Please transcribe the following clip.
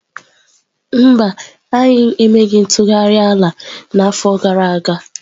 Mba, anyị emeghị ntụgharị ala n'afọ gara aga.